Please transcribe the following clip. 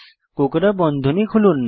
কোঁকড়া বন্ধনী খুলুন